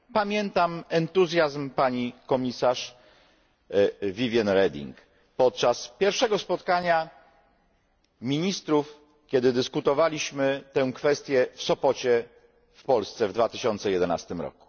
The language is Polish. Pamiętam entuzjazm pani komisarz Viviane Reding podczas pierwszego spotkania ministrów, kiedy omawialiśmy tę kwestię w Sopocie w Polsce w 2011 r.